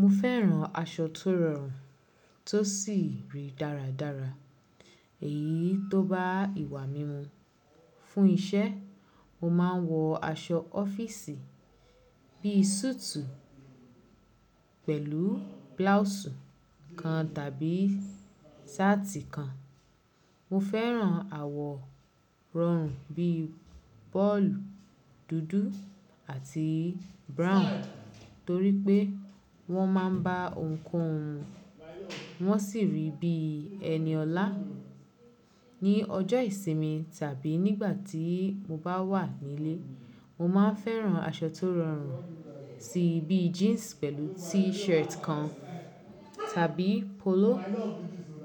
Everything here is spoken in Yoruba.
Mo fẹ́ràn aṣọ tó rọrùn tó sì rí dáradára. Èyí tó bá ìwà mí mu. Fún iṣẹ́, mo máa ń wọ aṣọ ọ́fíìsì bí i súùtù pẹ̀lú bláùùsù kan tàbí ṣáàtì kan. Mo fẹ́ràn àwọ̀ rọrùn bíi bolúù, dúdú àti brown torí pé wọ́n máa ń bá ohunkóhun wọ́n sì rí bí ẹni ọlá. Ni ọjọ́ ìsinmi tàbí nígbà tí mo bá wà nílé, mo máa ń fẹ́ràn aṣọ tó rọrùn sí i bíi jíǹsì pẹ̀lú T-shirt kan tàbí polo